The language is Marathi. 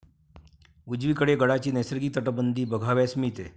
उजवीकडे गडाची नैसर्गिक तटबंदी बघावयास मिळते.